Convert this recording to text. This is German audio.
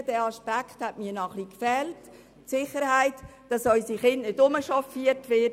Dieser Aspekt hat mir noch etwas gefehlt, nämlich die Sicherheit, dass unsere Kinder nicht herumchauffiert werden.